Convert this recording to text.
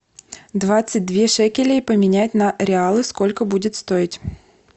двадцать две шекелей поменять на реалы сколько будет стоить